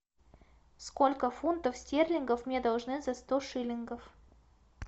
сколько фунтов стерлингов мне должны за сто шиллингов